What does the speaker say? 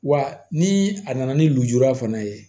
Wa ni a nana ni lujura fana ye